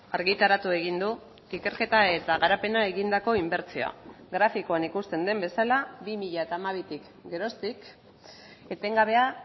argitaratu egin du ikerketa eta garapena egindako inbertsioa grafikoan ikusten den bezala bi mila hamabitik geroztik etengabea